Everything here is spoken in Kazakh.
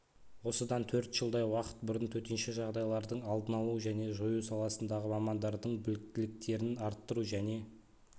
осыдан төрт жылдай уақыт бұрын төтенше жағдайлардың алдын алу және жою саласындағы мамандардың біліктіліктерін арттыру және